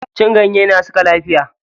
Cin ganye na saka lafiya.